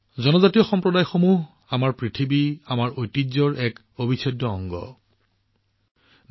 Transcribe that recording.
জনজাতীয় সম্প্ৰদায়বোৰ আমাৰ ভূমি আমাৰ ঐতিহ্যৰ এক অবিচ্ছেদ্য অংগ হৈ আহিছে